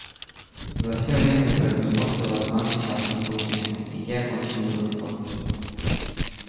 за всё время произошло всего два несчастных случая и те кончили благополучно